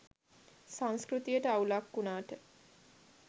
සංස්කෘතියට අවුලක් වුණාට